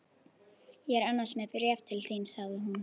Ég er annars með bréf til þín sagði hún.